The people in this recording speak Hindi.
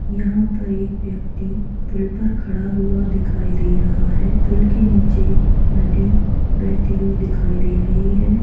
यहाँ पर एक व्यक्ति पुल पर खड़ा हुआ दिखाई दे रहा है पुल के निचे नदी बहती हुई दिखाई दे रही है |